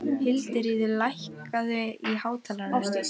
Hildiríður, lækkaðu í hátalaranum.